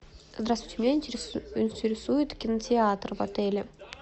здравствуйте меня интересует кинотеатр в отеле